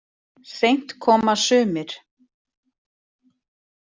Seint koma sumir.